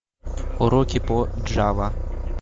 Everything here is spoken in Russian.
уроки по джава